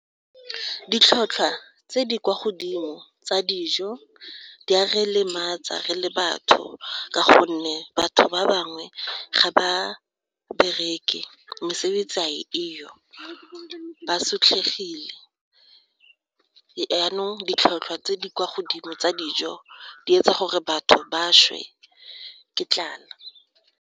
Mo dikgatong tseno go tla lebelelwa gore a go na le ditiragalo tse di seng tsa boammaruri mo lephateng la dikgwebo tse di dirang gore dijo di tlhatlhosiwe ka ditlhotlhwa tse di kwa godimo.